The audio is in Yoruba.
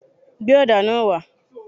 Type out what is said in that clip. Gbé ọ̀dà náà wá.!